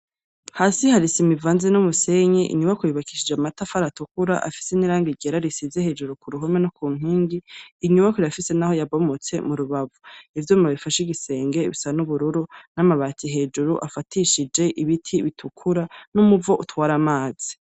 Hasi hari isima ivanze n'umusenyi. Inyubakwa yubakishije amatafari atukura, afise n'irangi ryera risize hejuru ku ruhome no ku nkingi. Inyubakwa irafise n'aho yabomotse mu rubavu. Ivyuma bifashe igisenge bisa n'ubururu, n'amabati hejuru afatishije ibiti bitukura, n'umuvo utwara amazi.